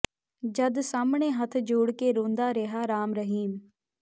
ਜੱਜ ਸਾਹਮਣੇ ਹੱਥ ਜੋੜ ਕੇ ਰੋਂਦਾ ਰਿਹਾ ਰਾਮ ਰਹੀਮ